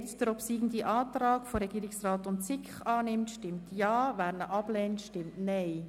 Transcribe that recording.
Wer den obsiegenden Antrag von Regierungsrat und SiK annimmt, stimmt Ja, wer ihn ablehnt, stimmt Nein.